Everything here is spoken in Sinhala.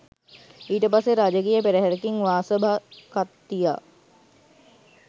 ඊට පස්සේ රාජකීය පෙරහැරකින් වාසභඛත්තියා